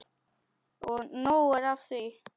Og nóg er af því.